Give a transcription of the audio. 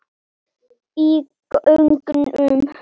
Í gegnum